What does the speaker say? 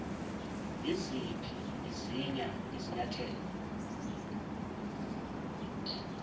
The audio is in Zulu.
iziphi izinya thelo